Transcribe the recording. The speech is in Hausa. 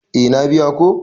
Eh na biya ko.